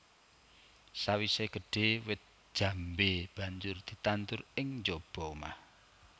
Sawisé gedhé wit jambé banjur ditandur ing njaba omah